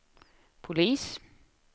polis